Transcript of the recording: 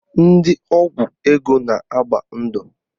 Ndị ọgwụ ego na-agba ndụ